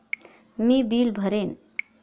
मी bill भरेन.